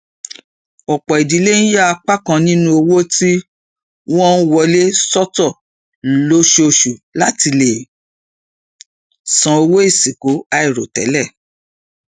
ọpọ ìdílé ń yà apá kan nínú owó tí wọn ń wọlé sọtọ lóṣooṣù láti lè san owó ìsìnkú àìròtẹlẹ